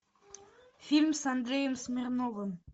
фильм с андреем смирновым